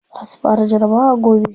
Za su fara jarabawa gobe.